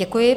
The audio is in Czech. Děkuji.